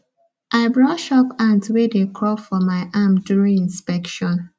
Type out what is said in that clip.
i brush off ants wey dey crawl for my arm during inspection